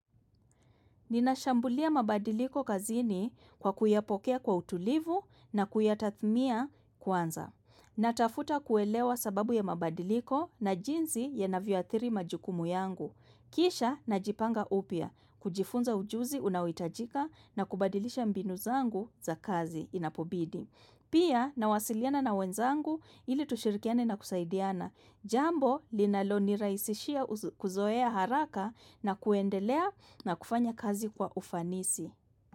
Ninashambulia mabadiliko kazini kwa kuyapokea kwa utulivu na kuyatathmia kwanza. Natafuta kuelewa sababu ya mabadiliko na jinsi yanavyoathiri majukumu yangu. Kisha najipanga upya, kujifunza ujuzi unaohitajika na kubadilisha mbinu zangu za kazi inapobidi. Pia nawasiliana na wenzangu ili tushirikiane na kusaidiana. Jambo linalo nirahisishia kuzoea haraka na kuendelea na kufanya kazi kwa ufanisi.